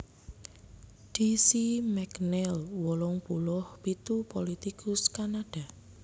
D C McNeil wolung puluh pitu pulitikus Kanada